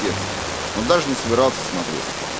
текст но даже не собирался смотреть